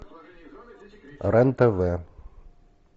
рен тв